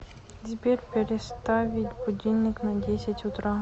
сбер переставить будильник на десять утра